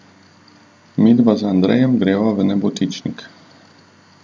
Midva z Andrejem greva v Nebotičnik.